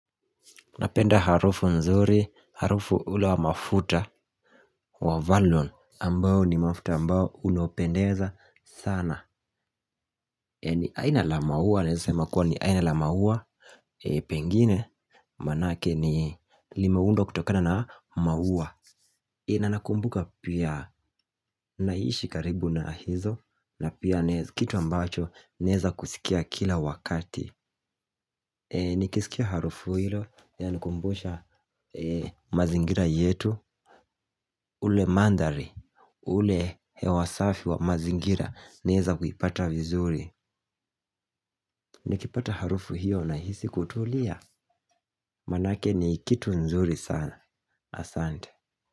Napenda harufu nzuri, harufu ulo wa mafuta wa Valon Ambao ni mafuta ambao unopendeza sana ni aina la maua naweza sema kuwa ni aina la maua. Pengine manake ni limeundwa kutokana na maua. Na nakumbuka pia naishi karibu na hizo. Na pia kitu ambacho naeza kusikia kila wakati. Nikisikia harufu hilo, inanikumbusha mazingira yetu. Ule mandhari, ule hewasafi wa mazingira naeza kuipata vizuri. Nikipata harufu hiyo na hisi kutulia. Manake ni kitu nzuri sana. Asante.